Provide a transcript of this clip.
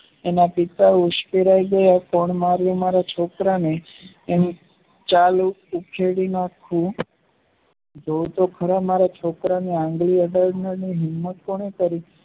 N પિતા ઉંચકહેરાયી ગયા ત્રણ વાર એના છોકરા ને ચાલો ઉખેડી નાખો જોવ તો ખરા મારા છોકરાની આંગળી અડાડતા નહિ